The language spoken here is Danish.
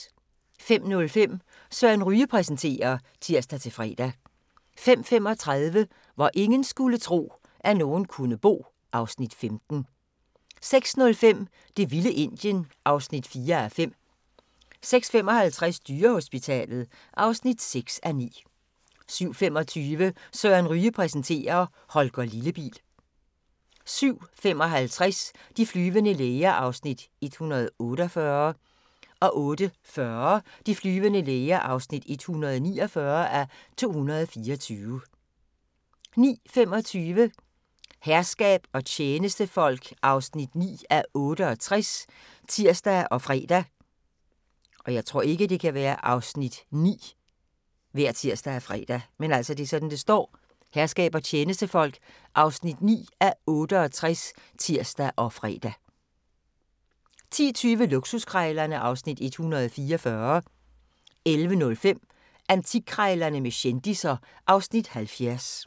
05:05: Søren Ryge præsenterer (tir-fre) 05:35: Hvor ingen skulle tro, at nogen kunne bo (Afs. 15) 06:05: Det vilde Indien (4:5) 06:55: Dyrehospitalet (6:9) 07:25: Søren Ryge præsenterer: Holger Lillebil 07:55: De flyvende læger (148:224) 08:40: De flyvende læger (149:224) 09:25: Herskab og tjenestefolk (9:68)(tir og fre) 10:20: Luksuskrejlerne (Afs. 144) 11:05: Antikkrejlerne med kendisser (Afs. 70)